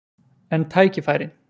En tækifærin?